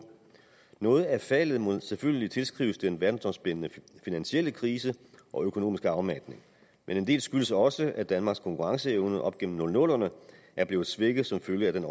noget af faldet må selvfølgelig tilskrives den verdensomspændende finansielle krise og økonomiske afmatning men en del skyldes også at danmarks konkurrenceevne op gennem nullerne er blevet svækket som følge af den